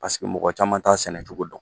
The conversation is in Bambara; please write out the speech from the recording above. Paseke mɔgɔ caman t'a sɛnɛcogo dɔn.